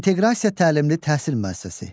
İnteqrasiya təlimli təhsil müəssisəsi.